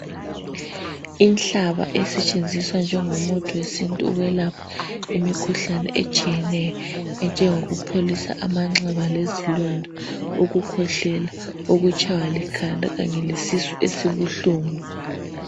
Inhlaba esetshenziswa njengomuthi wesintu ukwelapha imikhuhlane etshiyeneyo enjengokupholisa amanxeba, ukukhwehlela ukutshaywa likhanda Kanye lwesisu esibuhlungu.